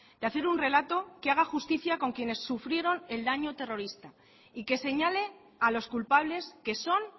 de hacer un relato que haga justicia con quienes sufrieron el daño terrorista y que señale a los culpables que son